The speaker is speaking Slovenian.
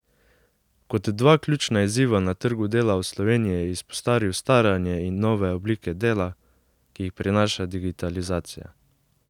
Kot dva ključna izziva na trgu dela v Sloveniji je izpostavil staranje in nove oblike dela, ki jih prinaša digitalizacija.